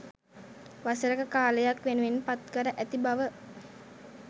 වසරක කාලයක්‌ වෙනුවෙන් පත්කර ඇති බව